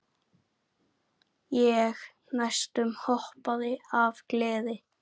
Ég næstum hoppaði af gleði.